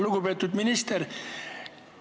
Lugupeetud minister!